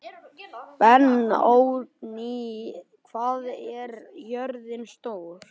Benóný, hvað er jörðin stór?